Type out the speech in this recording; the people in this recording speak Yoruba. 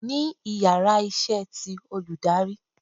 The íyarà iṣẹ tí olùdarí